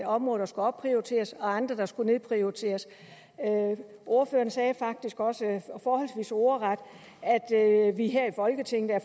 områder der skulle opprioriteres og andre der skulle nedprioriteres ordføreren sagde faktisk også forholdsvis ordret at vi her i folketinget er